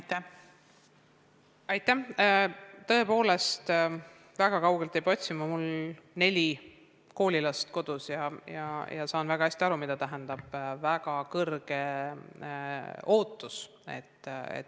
Tõepoolest, seda probleemi ma ei pea väga kaugelt hindama – mul on neli koolilast kodus ja ma saan väga hästi aru, mida tähendab niisugune väga kõrge ootus.